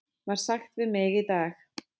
var sagt við mig í dag.